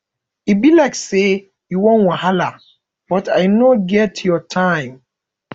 e be like say you wan wahala but i no get your time